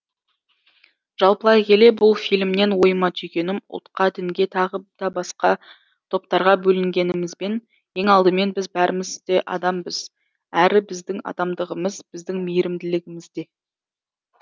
жалпылай келе бұл фильмнен ойыма түйгенім ұлтқа дінге тағы да басқа топтарға бөлінгенімізбен ең алдымен біз бәріміз де адамбыз әрі біздің адамдығымыз біздің мейірімділігімізде